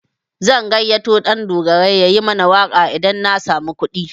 Zan gayyato Ɗandogarai yayi mana waƙa idan na samu kuɗi.